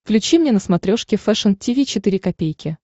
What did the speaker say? включи мне на смотрешке фэшн ти ви четыре ка